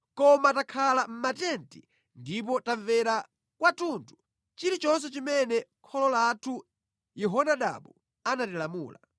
Koma takhala mʼmatenti ndipo tamvera kwathunthu chilichonse chimene kholo lathu Yehonadabu anatilamula.